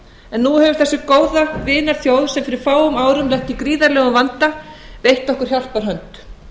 en nú hefur þessi góða vinaþjóð sem fyrir fáum árum lenti í gríðarlegum vanda veitt okkur hjálparhönd